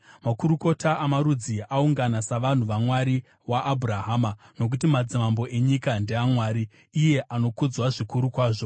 Makurukota amarudzi aungana savanhu vaMwari waAbhurahama, nokuti madzimambo enyika ndeaMwari; iye anokudzwa zvikuru kwazvo.